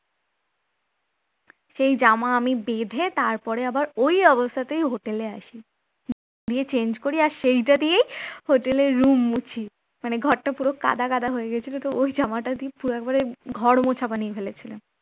সেই জামা আমি বেঁধে তারপরে আবার ওই অবস্থাতেই হোটেলে আসে নিয়ে change করি সেটা দিয়ে hotel র room মুছি মানে ঘরটা পুরো কাঁদা কাঁদা হয়ে গেছিল তো ওই জামাটা দিয়ে পুরো একেবারে ঘর মোছা বানিয়ে ফেলে ছিলাম